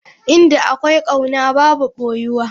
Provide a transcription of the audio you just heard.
Inda akwai kauna babu boyuwa.